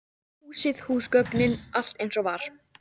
Húsið, húsgögnin, allt eins og var.